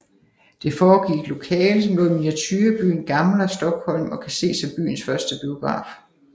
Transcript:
Det foregik i et lokale som lå i miniaturebyen Gamla Stockholm og kan ses som byens første biograf